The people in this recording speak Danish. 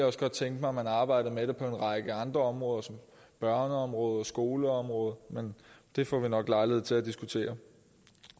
også godt tænke mig at man arbejdede med det på en række andre områder som børneområdet og skoleområdet men det får vi nok lejlighed til at diskutere